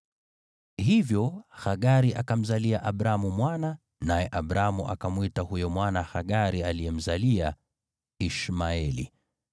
Hivyo Hagari akamzalia Abramu mwana, naye Abramu akamwita huyo mwana Hagari aliyemzalia, Ishmaeli.